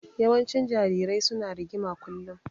Yawancin jarirai su na rigima kullum